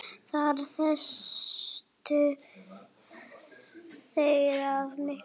Þar misstu þeir af miklu.